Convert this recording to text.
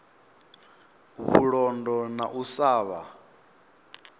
vhulondo na u sa vha